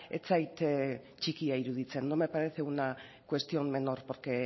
ez zait txikia iruditzen no me parece una cuestión menor porque